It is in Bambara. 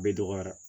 Bɛɛ dɔgɔyara